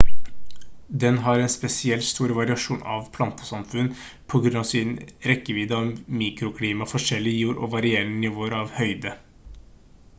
den har en spesielt stor variasjon av plantesamfunn på grunn av sin rekkevidde av mikroklima forskjellig jord og varierende nivåer av høyde